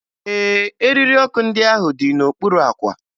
Ee, eriri ọkụ ndị ahụ dị n'okpuru àkwà